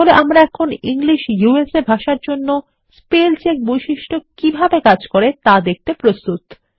তাহলে আমরা এখন ইংলিশ ইউএসএ ভাষার জন্য স্পেল চেক বৈশিষ্ট্য কিভাবে কাজ করে তা দেখতে প্রস্তুত